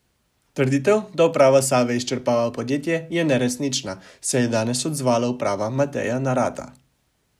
Trditev, da uprava Save izčrpava podjetje, je neresnična, se je danes odzvala uprava Mateja Narata.